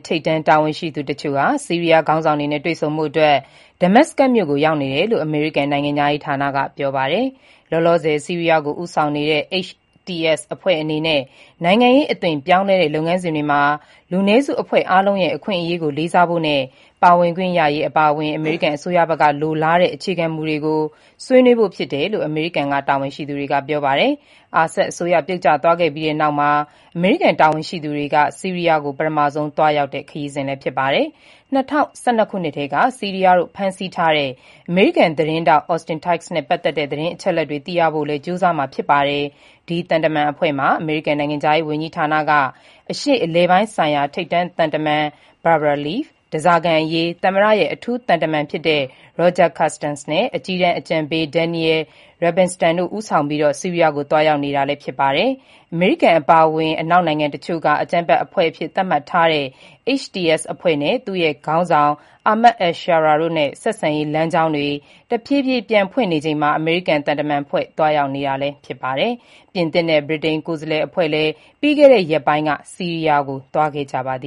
ထိပ်တန်းတာဝန်ရှိသူတချို့ ဆီးရီးယားခေါင်းဆောင်တွေနဲ့ တွေ့ဆုံဖို့ Damascus ကို ရောက်နေတယ်လို့ အမေရိကန်နိုင်ငံခြားရေးဌာနက ပြောပါတယ်။ လောလောဆယ် ဆီးရီးယားကို ဦးဆောင်နေတဲ့ HTS အဖွဲ့အနေနဲ့ နိုင်ငံရေးအသွင်ပြောင်းလဲတဲ့ လုပ်ငန်းစဉ်တွေမှာ လူနည်းစု အဖွဲ့အားလုံးရဲ့ အခွင့်အရေးကိုလေးစားဖို့နဲ့ ပါဝင်ခွင့်ရရေးအပါအဝင် အမေရိကန်အစိုးရဘက်က လိုလားတဲ့ အခြေခံမူတွေကို ဆွေးနွေးဖို့ ဖြစ်တယ်လို့ အမေရိကန် တာဝန်ရှိသူတွေက ပြောပါတယ်။ Assad အစိုးရပြုတ်ကျသွားခဲ့ပြီးနောက်မှာ အမေရိကန်တာဝန်ရှိသူတွေ ဆီးရီးယားကို ပထမဆုံး သွားရောက်တာဖြစ်ပါတယ်။ ၂၀၁၂ ခုနှစ်ကတည်းက ဆီးရီးယားတို့ဖမ်းဆီးထားတဲ့ အမေရိကန် သတင်းထောက် Austin Tice နဲ့ပတ်သက်တဲ့ သတင်းအချက်အလက်တွေသိရဖို့လည်း ကြိုးစားမှာ ဖြစ်ပါတယ်။ အမေရိကန်နိုင်ငံခြားရေးဝန်ကြီးဌာနက အရှေ့အလယ်ပိုင်းဆိုင်ရာ ထိပ်တန်းသံတမန် Barbara Leaf၊ ဓားစာခံအရေးသမ္မတရဲ့ အထူးသံတမန် Roger Carstens နဲ့ အကြီးတန်းအကြံပေး Daniel Rubinstein တို့ ဦးဆောင်ပြီး ဆီးရီးယားကို သွားရောက်နေတာြဖစ်ပါတယ်။ အမေရိကန်အပါအဝင် အနောက်နိုင်ငံတချို့က အကြမ်းဖက်အဖွဲ့အဖြစ်သတ်မှတ်ထားတဲ့ HTS အဖွဲ့နဲ့ သူ့ရဲ့ခေါင်းဆောင် Ahmed al-Sharaa တို့နဲ့ ဆက်ဆံရေးလမ်းကြောင်းတွေ တဖြည်းဖြည်း ပြန်ဖွင့်နေ ချိန်မှာ အမေရိကန် သံတမန်အဖွဲ့သွားရောက်နေကြတာလည်းဖြစ်ပါတယ်။ ပြင်သစ်နဲ့ ဗြိတိန် ကိုယ်စားလှယ်အဖွဲ့လည်း ပြီးခဲ့တဲ့ရက်ပိုင်းက ဆီးရီးယားကို သွားခဲ့ကြပါတ